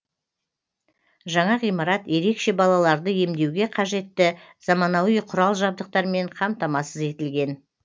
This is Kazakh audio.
жаңа ғимарат ерекше балаларды емдеуге қажетті заманауи құрал жабдықтармен қамтамасыз етілген